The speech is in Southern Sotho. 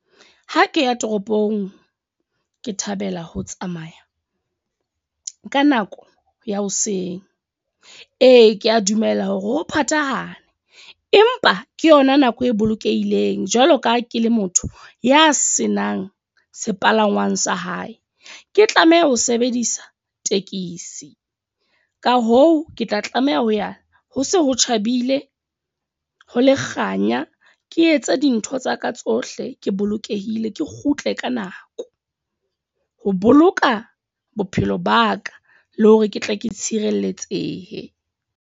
Ha ke ya toropong, ke thabela ho tsamaya ka nako ya hoseng. Ee, ke a dumela hore ho phathahane. Empa ke yona nako e bolokehileng, jwalo ka ha ke le motho ya senang sepalangwang sa hae. Ke tlameha ho sebedisa tekesi. Ka hoo, ke tla tlameha ho ya ho se ho tjhabile, ho le kganya. Ke etse dintho tsa ka tsohle ke bolokehile. Ke kgutle ka nako, ho boloka bophelo ba ka le hore ke tle ke tshireletsehe.